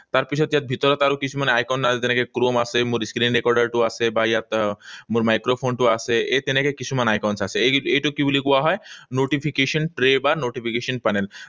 তাৰপিছত ইয়াত ভিতৰত আৰু কিছুমান icon যেনে chrome আছে, মোৰ screen recorder টো আছে, বা ইয়াত মোৰ microphone টো আছে, এই তেনেকৈ কিছুমান icons আছে। এইটোক কি বুলি কোৱা হয়? Notification tray বা notification panel